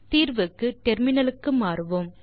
தீர்வுக்கு டெர்மினலுக்கு மாறுவோம்